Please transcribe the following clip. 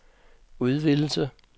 udvidelse